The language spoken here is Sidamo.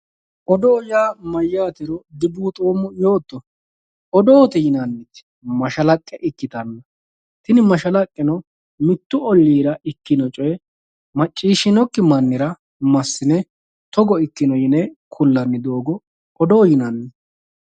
Odoo yaa mayatero dibuuxomo yooto odoote yinaniti mashalaqe ikitano tini mashalaqe mitu oliira macishinoki manira masine togo ikino yine kulani doogo odoote yinani.